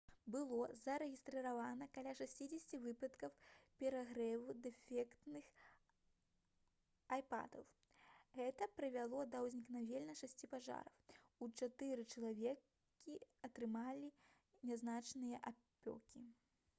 было зарэгістравана каля 60 выпадкаў перагрэву дэфектных айподаў гэта прывяло да ўзнікнення шасці пажараў а чатыры чалавекі атрымалі нязначныя апёкі